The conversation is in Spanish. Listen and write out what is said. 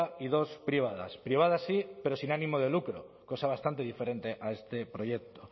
y dos privadas privadas sí pero sin ánimo de lucro cosa bastante diferente a este proyecto